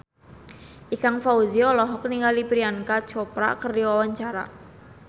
Ikang Fawzi olohok ningali Priyanka Chopra keur diwawancara